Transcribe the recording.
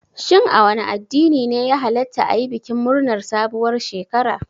Shin a wane addini ne ya hallata ayi bikin murnar sabuwar shekara?